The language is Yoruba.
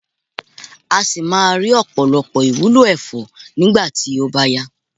a si maa ri opolopo iwulo efo nigba ti o ba ya